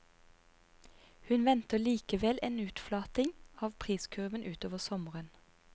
Hun venter likevel en utflating av priskurven utover sommeren.